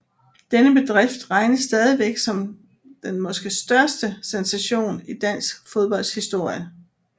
Denne bedrift regnes stadig som den måske største sensation i dansk fodbolds historie